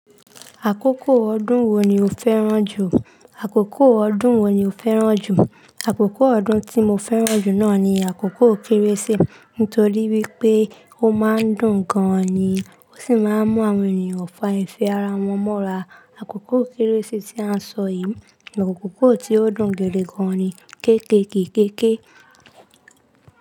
Àkókò ọdún wo ni o fẹ́ràn jù? Àkókò ọdún wo ni o fẹ́ràn jù? Àkókò ọdún tí mo fẹ́ràn jù náà ni àkókò kérésì nítorí wípé ó máa ń dùn gan-an ni, ó sì máa ń mú àwọn ènìyàn fa ìfẹ́ ara wọn mọ́ra. Àkókò kérésì tí a sọ yìí ni àkókò tí ó dùn gidi gan-an ni. Kékèké kéké.